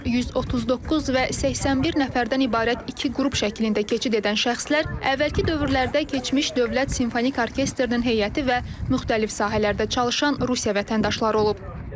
139 və 81 nəfərdən ibarət iki qrup şəklində keçid edən şəxslər əvvəlki dövrlərdə keçmiş Dövlət Simfonik Orkestrinin heyəti və müxtəlif sahələrdə çalışan Rusiya vətəndaşları olub.